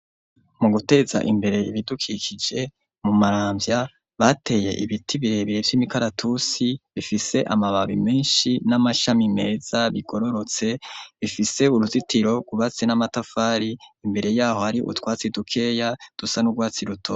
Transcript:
Mu guteza imbere ibidukikije mu Maramvya bateye ibiti birebire vy'imikaratusi bifise amababi menshi n'amashami meza bigororotse bifise uruzitiro rwubatse n'amatafari imbere yaho hari utwatsi dukeya dusa n'urwatsi ruto.